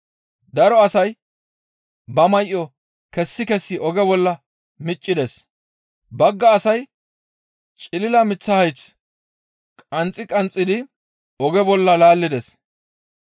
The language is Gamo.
Daro asay ba may7o kessi kessi oge bolla miccides. Bagga asay cilila miththa hayth qanxxi qanxxidi oge bolla laallides.